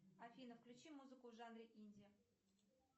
афина включи музыку в жанре инди